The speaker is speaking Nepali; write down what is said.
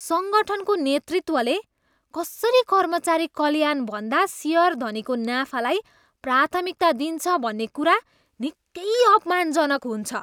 सङ्गठनको नेतृत्वले कसरी कर्मचारी कल्याणभन्दा सेयरधनीको नाफालाई प्राथमिकता दिन्छ भन्ने कुरा निकै अपमानजनक हुन्छ।